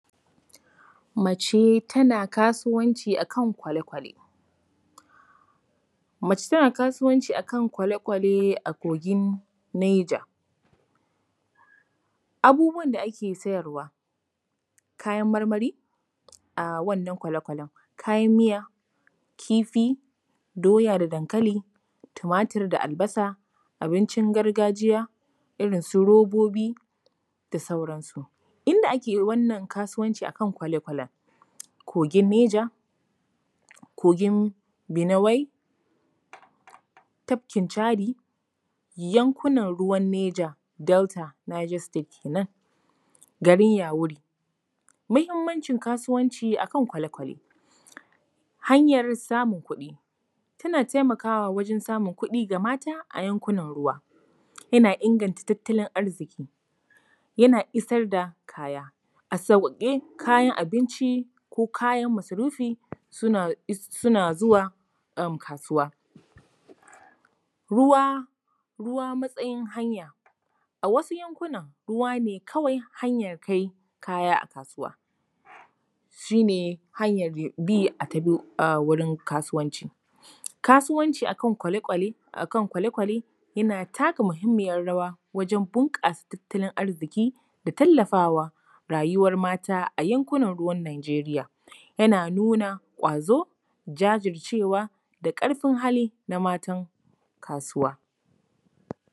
Mace tana kasuwanci a kan kwale-kwale. Mace tana kasuwanci a kan kwale-kwale a Kogin Naija. Abubuwan da ake siyarwa: kayan marmari a wannan kwale-kwalen, kayan miya, kifi, doya da dankali, tumatur da albasa, abincin gargajiya, irin su robobi da sauransu. Inda ake wannan kasuwanci a kan kwale kwalen: kogin Neja, kogin Binuwai, tafkin Chadi, yankunan ruwan Niger-Delta, Niger State kenan, garin Yauri. Muhimancin kasuwanci a kan kwale-kwale: hanyar samun kuɗi, tana taimakawa wajen samun kuɗi ga mata a yankunan ruwa. Yana inganta tattalin arziki. Yana isar da kaya a sauƙaƙe, kayan abinci ko kayan masarufi suna zuwa kasuwa. Ruwa, ruwa matsayin hanya: a wasu yankunan, ruwa ne kawai hanyar kai kaya a kasuwa, shi ne hanyar bi a wurin kasuwanci. Kasuwanci a kan kwale-kwale yana taka muhimmiyar rawa, wajen bunƙasa tattalin arziki da tallafa wa rayuwar mata a yankunab ruwan Nigeria. Yana nuna ƙwazo, jajircewa da ƙarfin hali na matan kasuwa.